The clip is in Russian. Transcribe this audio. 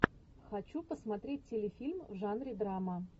хочу посмотреть телефильм в жанре драма